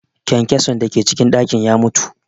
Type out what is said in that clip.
Kyankyason da ke cikin ɗakin ya mutu